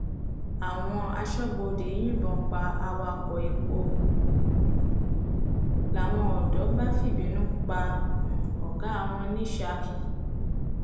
àwọn asọbọdé yìnbọn pa awakọ epo um làwọn odò bá fìbínú pa um ọgá wọn ní saki